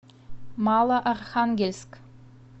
малоархангельск